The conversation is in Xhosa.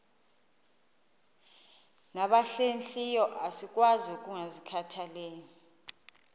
nabahlehliyo asikwazi ukungazikhathaieli